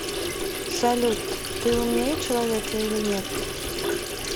салют ты умнее человека или нет